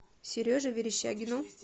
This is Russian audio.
сереже верещагину